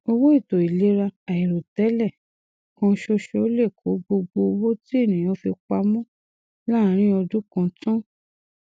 owó ètò ìlera àìròtẹlẹ kan ṣoṣo lè kó gbogbo owó tí ènìyàn fi pamọ láàrin ọdún kan tán